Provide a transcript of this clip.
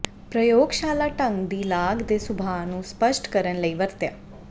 ਪ੍ਰਯੋਗਸ਼ਾਲਾ ਢੰਗ ਦੀ ਲਾਗ ਦੇ ਸੁਭਾਅ ਨੂੰ ਸਪੱਸ਼ਟ ਕਰਨ ਲਈ ਵਰਤਿਆ